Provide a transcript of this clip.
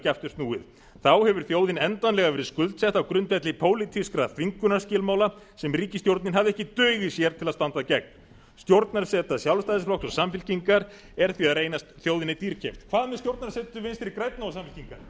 aftur snúið þá hefur þjóðin endanlega verið skuldsett á grundvelli pólitískra þvingunarskilmála sem ríkisstjórnin hafði ekki dug í sér til að standa gegn stjórnarseta sjálfstæðisflokks og samfylkingar er því að reynast þjóðinni dýrkeypt hvað sem stjórnarsetu vinstri grænna og samfylkingarinnar nú